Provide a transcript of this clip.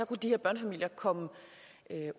kunne de her børnefamilier komme